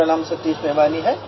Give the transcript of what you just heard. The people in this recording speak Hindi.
मेरा नाम सतीश बेवानी है